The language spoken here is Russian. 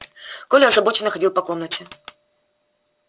коля озабоченно ходил по комнате